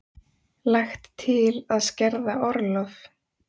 Lagt til að skerða orlof